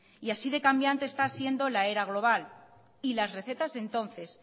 y así de cambiante está siendo la era global y las recetas de entonces